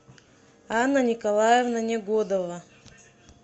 анна николаевна негодова